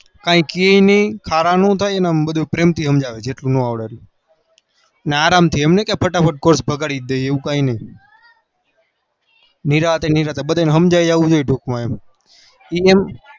કઈ કે નઈ અને પ્રેમ થી સમજાવે જેટલું ના સમજાવે એ નિરાતે નિરાતે બાધાન સમજાવી જાઉં જોવે